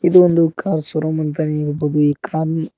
ಇದು ಒಂದು car showroom ಅಂತ ಹೇಳ್ಬೋದು ಈ ಕಾರ್ ನಿ--